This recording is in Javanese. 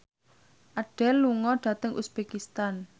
Adele lunga dhateng uzbekistan